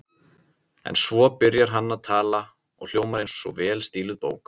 En svo byrjar hann að tala og hljómar eins og vel stíluð bók.